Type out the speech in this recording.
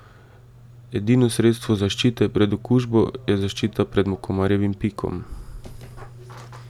Edino sredstvo zaščite pred okužbo je zaščita pred komarjevim pikom.